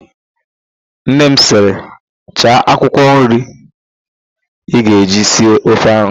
Nne m sịrị, "chaa akwụkwọ nri ị ga-eji sie ofe ahụ"!